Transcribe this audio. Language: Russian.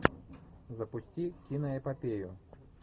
запусти киноэпопею